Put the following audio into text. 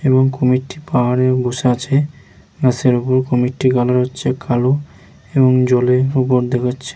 এবং কুমির টি পাহাড়ের ওপর বসে আছে এবং কুমিরটি মনে হচ্ছে কালো এবং জলে ।